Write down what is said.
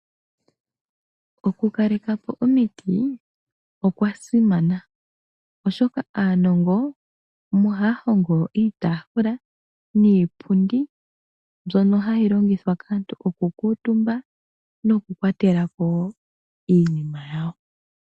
Okukalekapo omiti okwasimana oshoka aanongo ohaya hongo iitaafula niipundi mbyono hayi longithwa kaantu okukuutumba nokukwatelapo wo iinima yawo.